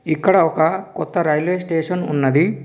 ఇక్కడ ఒక కొత్త రైల్వే స్టేషన్ ఉన్నది.